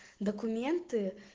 документы